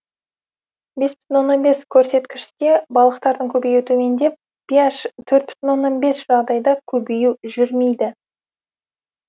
бес бүтін оннан бес көрсеткіште балықтардың көбеюі төмендеп пи аш төрт бүтін оннан бес жағдайда көбею жүрмейді